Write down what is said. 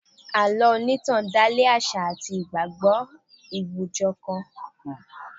Àlọ́ onitan dale àṣà àti ìgbàgbọ́ àwùjọ kan.